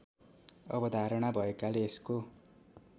अवधारणा भएकाले यसको